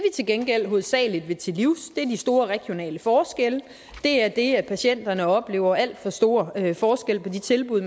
til gengæld hovedsagelig vil til livs er de store regionale forskelle det er det at patienterne oplever alt for stor forskel på de tilbud